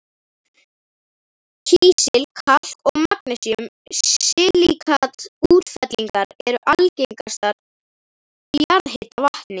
Kísil-, kalk- og magnesíum-silíkat-útfellingar eru algengastar í jarðhitavatni.